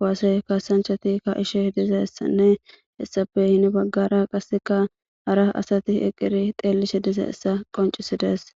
kowase kaasanchatikka ishe diza essanne hessape hini baggara qasseka hara asati eqqiri teellishe diza essa qoncisidees